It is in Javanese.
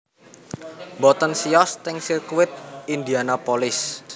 Mboten siyos ten sirkuit Indianapolis